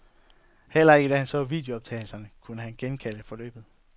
Heller ikke da han så videooptagelserne, kunne han genkalde forløbet.